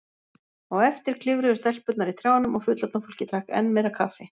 Á eftir klifruðu stelpurnar í trjánum og fullorðna fólkið drakk enn meira kaffi.